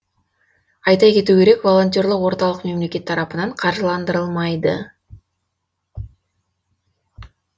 айта кету керек волонтерлық орталық мемлекет тарапынан қаржыландырылмайды